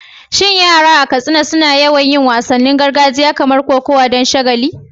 Shin yara a Katsina suna yawan yin wasannin gargajiya kamar kokawa don shagala?